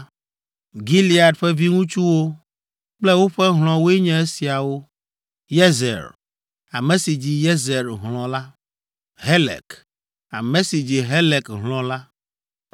Gilead ƒe viŋutsuwo kple woƒe hlɔ̃woe nye esiawo. Yezer, ame si dzi Yezer hlɔ̃ la, Helek, ame si dzi Helek hlɔ̃ la,